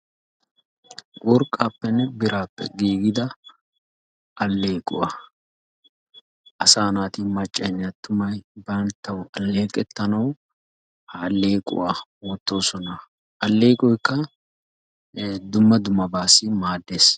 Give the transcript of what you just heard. Worqqappenne birappe giigida aleequwaa, asa naati maccayinne attumay banttaw aleeqetanaw ha allequwaa wotoosona. ha alleeqoykka dumma dummabassi maaddees.